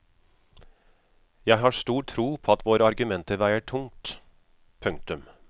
Jeg har stor tro på at våre argumenter veier tungt. punktum